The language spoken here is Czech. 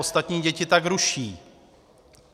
Ostatní děti tak ruší.